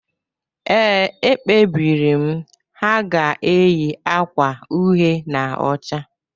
Ee, e kpebiri m: Ha ga-eyi agwa uhe na ọcha